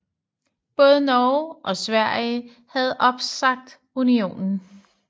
Både Norge og Sverige havde opsagt unionen